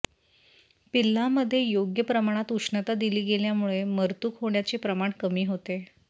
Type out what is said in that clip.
पिल्लामध्ये योग्य प्रमाणात उष्णता दिली गेल्यामुळे मरतूक होण्याचे प्रमाण कमी होते